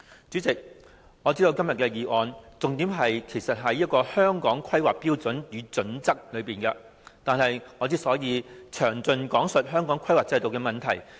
主席，今天議案的重點是《香港規劃標準與準則》，我剛才已詳盡講述《規劃標準》的問題。